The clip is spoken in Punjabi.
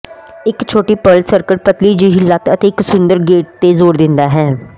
ਇੱਕ ਛੋਟੀ ਪਰਲ ਸਕਰਟ ਪਤਲੀ ਜਿਹੀ ਲੱਤ ਅਤੇ ਇੱਕ ਸੁੰਦਰ ਗੇਟ ਤੇ ਜ਼ੋਰ ਦਿੰਦਾ ਹੈ